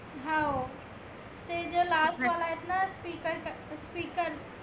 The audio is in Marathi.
हाव ते जे last वाला आहे ना speaker speaker